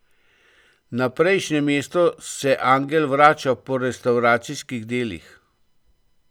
Na prejšnje mesto se angel vrača po restavracijskih delih.